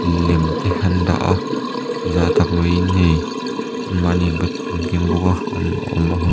lem te an dah a zah tak mai in hei an mah ni in keng bawk a.